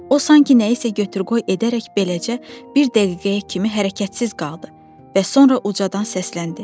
O sanki nəyisə götür-qoy edərək beləcə bir dəqiqəyə kimi hərəkətsiz qaldı və sonra ucadan səsləndi.